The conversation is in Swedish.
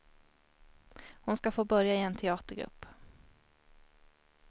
Hon ska få börja i en teatergrupp.